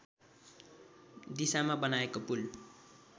दिशामा बनाएको पुल